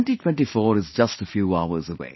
2024 is just a few hours away